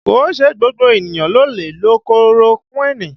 Kìí ṣe gbogbo ènìyàn ló lè lo korokuini